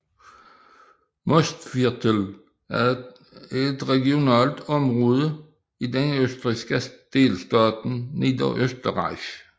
Mostviertel er et regionalt område i den østrigske delstat Niederösterreich